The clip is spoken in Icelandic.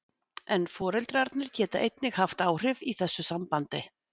en foreldrarnir geta einnig haft áhrif í þessu sambandi